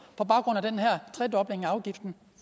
på baggrund af den her tredobling af afgiften